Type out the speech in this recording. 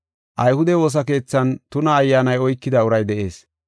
Ayhude woosa keethan tuna ayyaanay oykida uray de7ees.